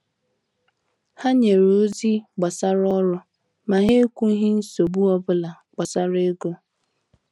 Ha nyere ozi gbasara ọrụ, ma ha ekwughị nsogbu obula gbasara ego.